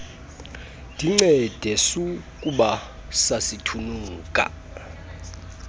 ndincede sukuba sasithunuka